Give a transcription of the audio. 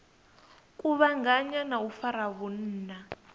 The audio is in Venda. kuvhanganya na u fara vhunna